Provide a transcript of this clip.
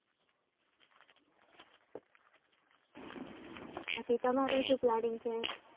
બાકી તમારું શું planning છે